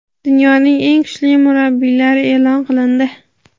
Dunyoning eng kuchli murabbiylari e’lon qilindi.